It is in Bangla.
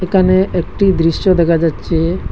এখানে একটি দৃশ্য দেখা যাচ্ছে।